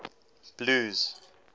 blues